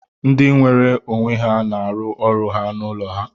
Ndị nweere onwe ha na-arụ ọrụ ha n'ụlọ ha